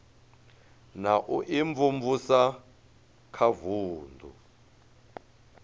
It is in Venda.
na u imvumvusa kha vunu